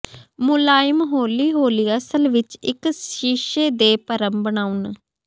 ਮੁਲਾਇਮ ਹੌਲੀ ਹੌਲੀ ਅਸਲ ਵਿੱਚ ਇੱਕ ਸ਼ੀਸ਼ੇ ਦੇ ਭਰਮ ਬਣਾਉਣ